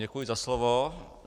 Děkuji za slovo.